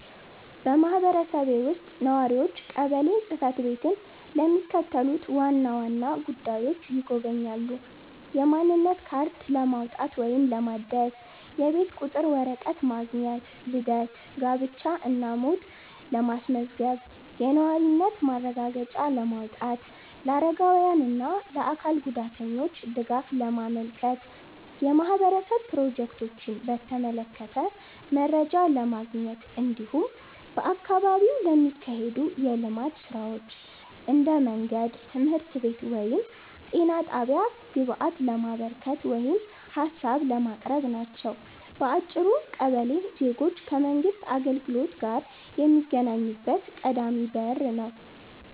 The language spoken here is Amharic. በማህበረሰቤ ውስጥ ነዋሪዎች ቀበሌ ጽ/ቤትን ለሚከተሉት ዋና ዋና ጉዳዮች ይጎበኛሉ፦ የማንነት ካርድ ለማውጣት ወይም ለማደስ፣ የቤት ቁጥር ወረቀት ማግኘት፣ ልደት፣ ጋብቻ እና ሞት ማስመዝገብ፣ የነዋሪነት ማረጋገጫ ማውጣት፣ ለአረጋውያን እና ለአካል ጉዳተኞች ድጋፍ ማመልከት፣ የማህበረሰብ ፕሮጀክቶችን በተመለከተ መረጃ ማግኘት፣ እንዲሁም በአካባቢው ለሚካሄዱ የልማት ሥራዎች (እንደ መንገድ፣ ትምህርት ቤት ወይም ጤና ጣቢያ) ግብአት ለማበርከት ወይም ሀሳብ ለማቅረብ ናቸው። በአጭሩ ቀበሌ ዜጎች ከመንግሥት አገልግሎት ጋር የሚገናኙበት ቀዳሚ በር ነው።